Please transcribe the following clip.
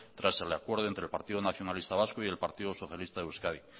tras el acuerdo entre el partido nacionalista vasco y el partido socialista de euskadi